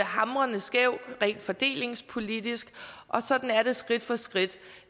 hamrende skæv rent fordelingspolitisk og sådan er det skridt for skridt